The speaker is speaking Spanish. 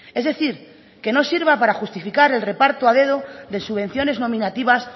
es decir que no sirva para justificar el reparto a dedo de subvenciones nominativas